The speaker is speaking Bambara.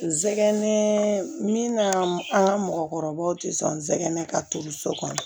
N sɛgɛn min na an ka mɔgɔkɔrɔbaw ti sɔn sɛgɛn ka to so kɔnɔ